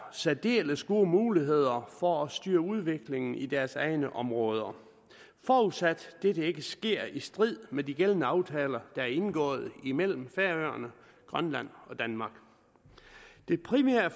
særdeles gode muligheder for at styre udviklingen i deres egne områder forudsat dette ikke sker i strid med de gældende aftaler der er indgået imellem færøerne grønland og danmark det primære